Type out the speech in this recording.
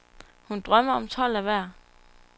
Hun drømmer om tolv af hver.